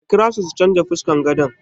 A kirawo su su change fuskar gadon nan.